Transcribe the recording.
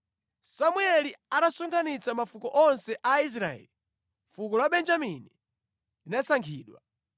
Samueli atasonkhanitsa mafuko onse a Israeli, fuko la Benjamini linasankhidwa.